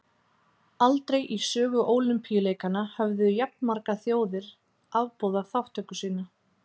Aldrei í sögu Ólympíuleikanna höfðu jafnmargar þjóðir afboðað þátttöku sína.